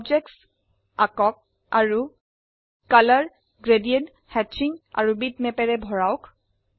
বস্তুবোৰ আঁকক আৰু ৰঙ গ্ৰেডিয়েন্ট হ্যাচিং আৰু বিটম্যাপৰে ভৰাওক